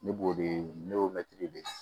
Ne b'o de ɲini ne y'o mɛntiri de ye